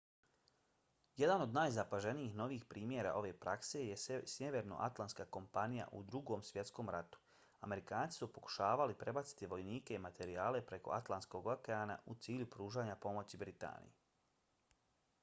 jedan od najzapaženijih novijih primjera ove prakse je sjevernoatlantska kampanja u drugom svjetskom ratu. amerikanci su pokušavali prebaciti vojnike i materijale preko atlantskog okeana u cilju pružanja pomoći britaniji